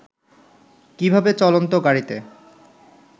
কীভাবে চলন্ত গাড়ীতে